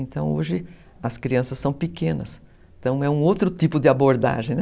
Então hoje as crianças são pequenas, então é um outro tipo de abordagem, né?